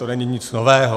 To není nic nového.